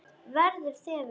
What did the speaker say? Verða þefur.